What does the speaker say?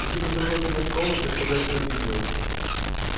иди на другой конец комнаты чтобы я тебя не видел